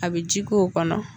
A bɛ ji ko o kɔnɔ.